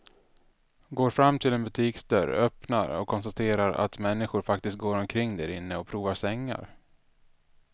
Går fram till en butiksdörr, öppnar och konstaterar att människor faktiskt går omkring därinne och provar sängar.